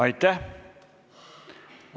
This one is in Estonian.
Aitäh!